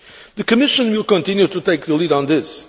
The Commission will continue to take the lead in this.